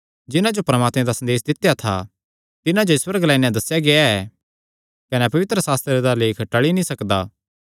जिन्हां जो परमात्मे दा संदेस दित्या था तिन्हां जो ईश्वर ग्लाई नैं दस्सेया गेआ ऐ कने पवित्रशास्त्रे दा लेख टल़ी नीं सकदा